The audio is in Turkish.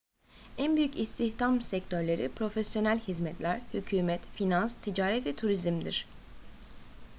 en büyük istihdam sektörleri profesyonel hizmetler hükümet finans ticaret ve turizmdir